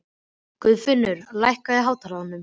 Guðfinnur, lækkaðu í hátalaranum.